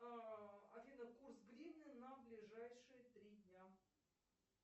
афина курс гривны на ближайшие три дня